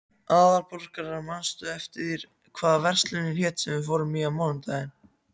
Aðalborgar, manstu hvað verslunin hét sem við fórum í á mánudaginn?